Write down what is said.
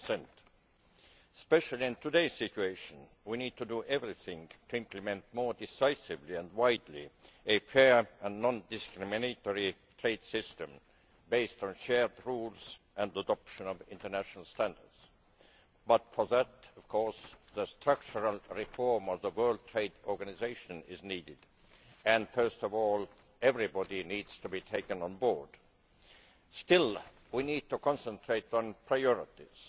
2 Especially in today's situation, we need to do everything we can to implement more decisively and widely a fair and non discriminatory trade system based on shared rules and the adoption of international standards. But for that, of course, structural reform of the World Trade Organisation is needed, and first of all everybody needs to be taken on board. Still, we need to concentrate on priorities.